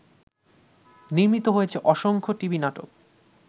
নির্মিত হয়েছে অসংখ্য টিভি নাটক